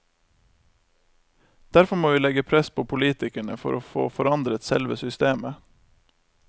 Derfor må vi legge press på politikerne, for å få forandret selve systemet.